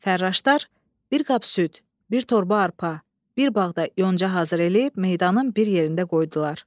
Fərraşdar bir qab süd, bir torba arpa, bir bağ da yonca hazır eləyib meydanın bir yerində qoydular.